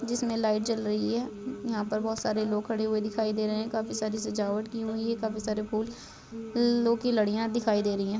जिसमें लाइट जल रही है यहां बहुत सारे लोग खड़े हुए दिख रहे हैं। काफी सारी सजावट की हुई हैं। काफी सारे फूल लों की लड़ियां दिखाई दे रही हैं।